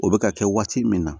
O bɛ ka kɛ waati min na